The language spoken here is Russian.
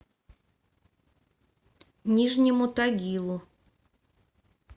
нижнему тагилу